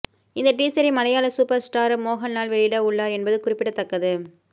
இந்த டீசரை மலையாள சூப்பர் ஸ்டார் மோகன்லால் வெளியிட உள்ளார் என்பது குறிப்பிடத்தக்கது